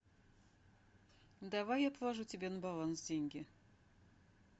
давай я положу тебе на баланс деньги